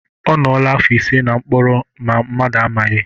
Ọ nọọla afọ ise na mkpọrọ ma mmadụ amaghị.